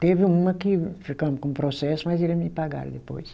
Teve uma que ficou com um processo, mas eles me pagaram depois.